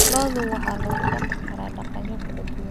Lo'da waxaa lagu dhaqi karaa daaqyo kala duwan.